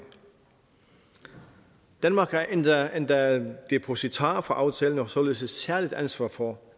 danmark er endda endda depositar for aftalen og har således et særligt ansvar for